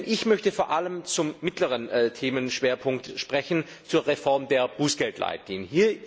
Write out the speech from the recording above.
Ich möchte vor allem zum mittleren Themenschwerpunkt sprechen, zur Reform der Bußgeldleitlinien.